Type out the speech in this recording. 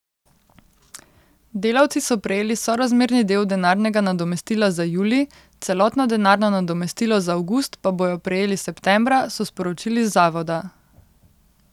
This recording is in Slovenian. Delavci so prejeli sorazmerni del denarnega nadomestila za julij, celotno denarno nadomestilo za avgust pa bodo prejeli septembra, so sporočili z zavoda.